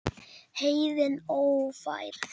Heiðin ófær?